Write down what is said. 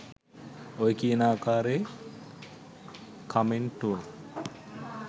ඔය කියන ආකාරයේ කමෙන්ටුවක්